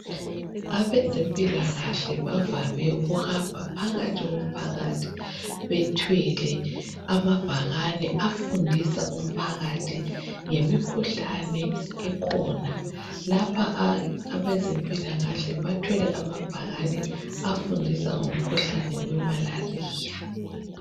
Abezempilakahle bavame ukuhamba phakathi komphakathi bethwele amabhakane afundisa umphakathi ngemikhuhlane ekhona. Lapha abezempilakahle bathwele amabhakane afundisa ngomkhuhlane wemalaria.